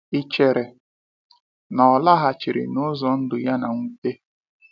Ị chere na ọ laghachiri n’ụzọ ndụ ya na mnwute?